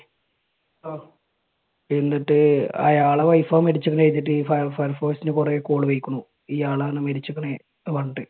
എന്നിട്ട് അയാളുടെ wife ആണ് മരിച്ചതെന്ന് പറഞ്ഞിട്ട് ഈ Fire Force ഇന് കുറേ call പോയിരിക്കുന്നു. ഇയാളാണ് മരിച്ചിരിക്കുന്നത് എന്ന് പറഞ്ഞിട്ട്.